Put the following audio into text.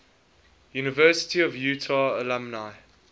university of utah alumni